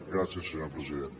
gràcies senyor president